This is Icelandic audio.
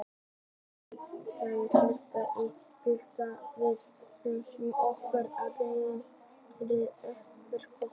Við framkvæmum hlutina í samræmi við ákvarðanir okkar og berum ábyrgð á verkum okkar.